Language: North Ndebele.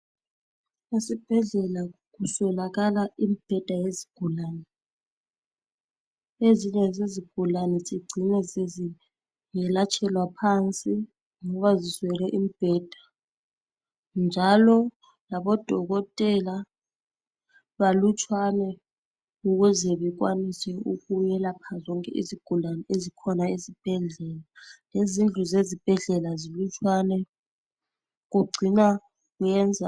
Esibhedlela kuswelakala imibheda yezigulane. Ezinye zezigulane zigcina seziyelatshelwa phansi ngoba ziswelele imibheda. Njalo labodokotela balutshwane ukuze bekwanise ukwelapha zonke izigulane ezikhona ezibhedlela. Lezindlu zezibhedlela zilutshwane kugcina kuyenza